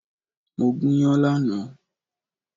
Mo gúnyán lánàá